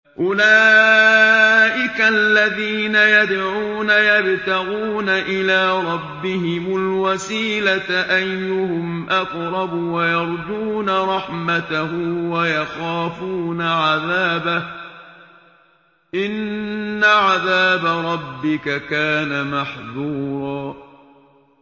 أُولَٰئِكَ الَّذِينَ يَدْعُونَ يَبْتَغُونَ إِلَىٰ رَبِّهِمُ الْوَسِيلَةَ أَيُّهُمْ أَقْرَبُ وَيَرْجُونَ رَحْمَتَهُ وَيَخَافُونَ عَذَابَهُ ۚ إِنَّ عَذَابَ رَبِّكَ كَانَ مَحْذُورًا